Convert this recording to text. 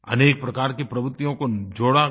अनेक प्रकार की प्रवर्तियों को जोड़ा गया